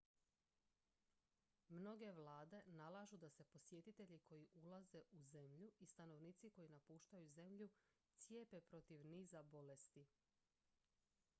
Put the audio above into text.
mnoge vlade nalažu da se posjetitelji koji ulaze u zemlju i stanovnici koji napuštaju zemlju cijepe protiv niza bolesti